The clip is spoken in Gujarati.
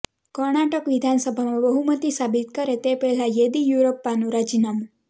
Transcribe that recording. કર્ણાટક વિધાનસભામાં બહુમતી સાબિત કરે તે પહેલા યેદિયુરપ્પાનું રાજીનામું